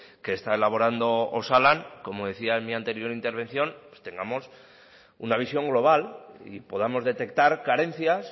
que está elaborando osalan como decía en mi anterior intervención tengamos una visión global y podamos detectar carencias